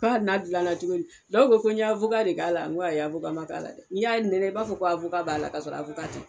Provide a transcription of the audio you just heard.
ka hali n'a gilanna cogodi dɔw ko ko n ye de k'a la n ko ayi man k'a la dɛ n'i y'a nɛnɛ i b'a fɔ ko b'a la ka sɔrɔ t'a